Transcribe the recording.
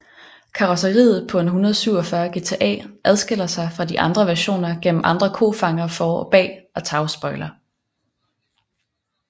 Karrosseriet på 147 GTA adskiller sig fra de andre versioner gennem andre kofangere for og bag og tagspoiler